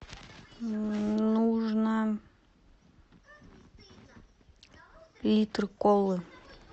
нужно литр колы